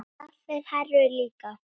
Jafnvel Heru líka.